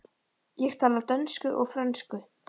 Ég tala dönsku og frönsku.